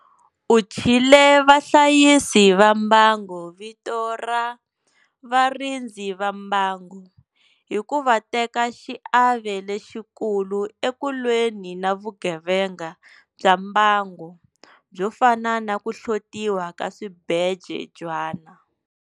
U thyile vahlayisi va mbango vito ra 'varindzi va mbango' hiku va teka xiave lexikulu eku lweni na vugevenga bya mbango, byo fana na ku hlotiwa ka swibejwana.